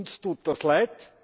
Uns tut das leid.